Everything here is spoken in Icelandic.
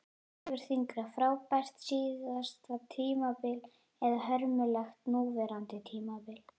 Hvort vegur þyngra, frábært síðasta tímabil eða hörmulegt núverandi tímabil?